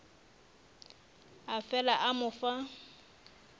a fela a mo fa